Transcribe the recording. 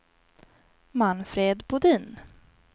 Manfred Bodin